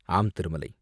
Aam, Thirumalai!